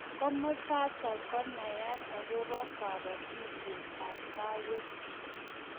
Komasatak konaat akobo kabatisiet ab kaaweek